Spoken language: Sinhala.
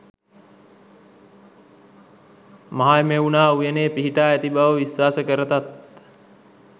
මහමෙවුනා උයනේ පිහිටා ඇති බව විශ්වාස කරතත්,